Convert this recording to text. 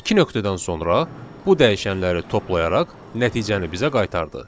İki nöqtədən sonra bu dəyişənləri toplayaraq nəticəni bizə qaytardı.